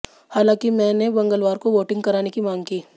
हालांकि मे ने मंगलवार को वोटिंग कराने की मांग की